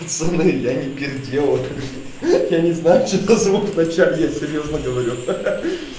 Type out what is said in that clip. пацаны я не пердел ха-ха я не знаю что за звук в начале я серьёзно говорю ха-ха